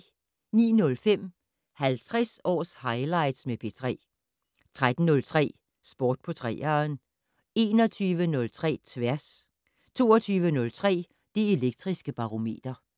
09:05: 50 års highlights med P3 13:03: Sport på 3'eren 21:03: Tværs 22:03: Det Elektriske Barometer